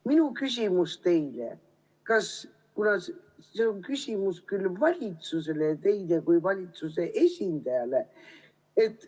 Minu küsimus teile on tegelikult küsimus valitsusele ja teile kui valitsuse esindajale.